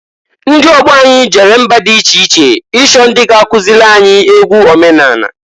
Ndị ọgbọ anyị jere mba di iche iche ichọ ndị ga- akụzịlị anyị egwu omenanị.